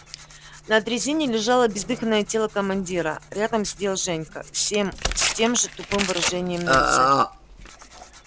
на дрезине лежало бездыханное тело командира рядом сидел женька все с тем же тупым выражением на лице